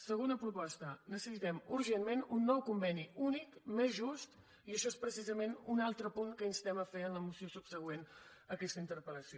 segona proposta necessitem urgentment un nou conveni únic més just i això és precisament un altre punt que instem a fer en la moció subsegüent a aquesta interpel·lació